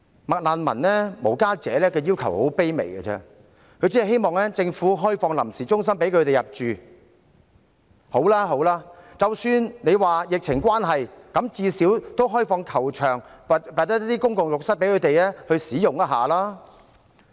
"麥難民"和無家者的要求很卑微，只希望政府可以開放臨時中心讓他們入住，即使因為疫情關係而暫時未能做到，至少也應開放球場或公共浴室供他們使用。